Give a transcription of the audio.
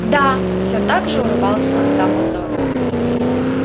да все так же улыбался дамблдор